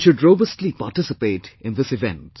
You should robustly participate in this event